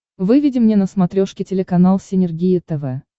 выведи мне на смотрешке телеканал синергия тв